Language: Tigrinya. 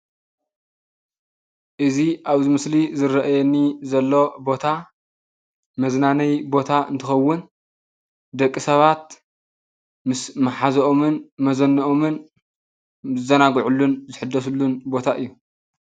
እዚ ኣብዚ ምስሊ ዝረአየኒ ዘሎ ቦታ መዝናነይ ቦታ እንትከውን ዳቂ ሰባት ምስ መሓዘኦምን መዘነኦምን ዝዛናግዕሉን ዝሕደስሉን ቦታ እዩ፡፡